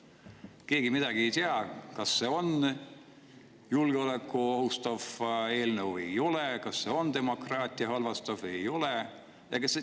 Keegi praegu ei tea, kas see on julgeolekut ohustav eelnõu või ei ole, kas see on demokraatiat või ei ole.